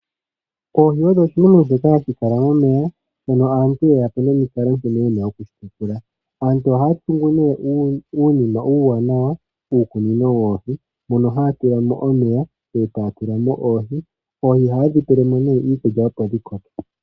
Oohi dhimwe dhoka hadhi kala momeya mono aantu ye yapo nomikalo nkene yena okudhi tekula aantu ohaa tungu nee uunima uuwawanawa